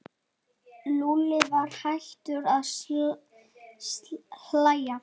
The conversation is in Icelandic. Lúlli var hættur að hlæja.